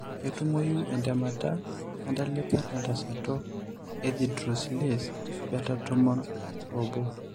Ketumoyu entemata entalipa tentasato ethydroxylase beta tomon oobo?